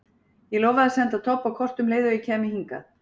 Ég lofaði að senda Tobba kort um leið og ég kæmi hingað.